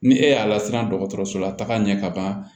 Ni e y'a lasiran dɔgɔtɔrɔso la taga ɲɛ kaban